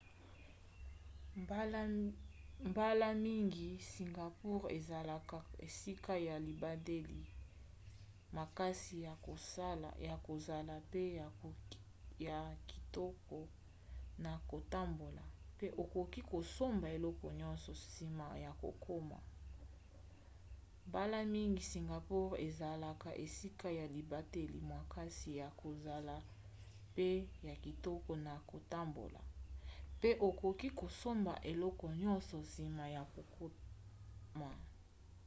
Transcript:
mbala mingi singapour ezalaka esika ya libateli makasi ya kozala pe ya kitoko na kotambola pe okoki kosomba eloko nyonso nsima ya kokoma